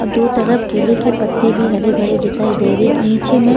और दो तरफ केले के पत्ते भी हरे भरे दिखाई दे रहे हैं और नीचे में--